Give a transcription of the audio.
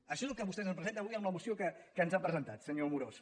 això és el que vostè ens presenta avui en la moció que ens ha presentat senyor amorós